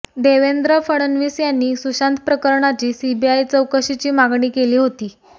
देवेंद्र फडणवीस यांनी सुशांत प्रकरणाची सीबीआय चौकशीची मागणी केली होती